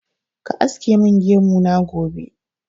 Ka aske min gemu na gobe!